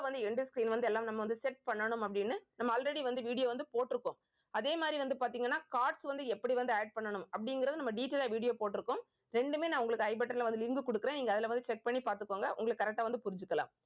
வந்து end screen வந்து எல்லாம் நம்ம வந்து set பண்ணணும் அப்படின்னு நம்ம already வந்து video வந்து போட்டிருக்கோம். அதே மாதிரி வந்து பாத்தீங்கன்னா cards வந்து எப்படி வந்து add பண்ணணும் அப்படிங்கிறதை நம்ம detail ஆ video போட்டிருக்கோம் ரெண்டுமே நான் உங்களுக்கு i button ல வந்து link கொடுக்கிறேன். நீங்க அதுல வந்து check பண்ணி பார்த்துக்கோங்க. உங்களுக்கு correct ஆ வந்து புரிஞ்சுக்கலாம்